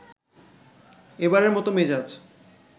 এবারের মত মেজাজ